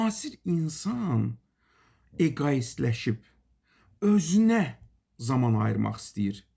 Müasir insan eqoistləşib, özünə zaman ayırmaq istəyir.